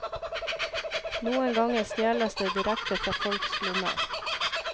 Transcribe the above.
Noen ganger stjeles det direkte fra folks lommer.